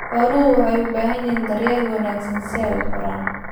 Xooluhu waxay u baahan yihiin daryeel wanaagsan si ay u koraan.